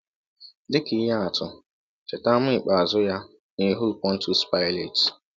Dị ka ihe atụ, cheta àmà ikpeazụ ya n’ihu Pọntiọs Paịlet.